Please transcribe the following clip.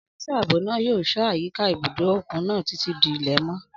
Ọ́físà ààbò náà yóò ṣọ́ àyíká ibùdó òkun náà títí di ilẹ̀ mọ́